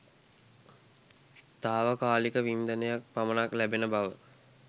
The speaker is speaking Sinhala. තාවකාලික වින්දනයක් පමණක් ලැබෙන බව